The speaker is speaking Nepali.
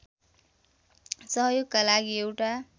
सहयोगका लागि एउटा